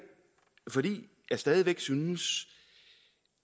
fordi jeg stadig væk synes